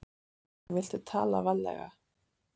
Viltu tala varlega.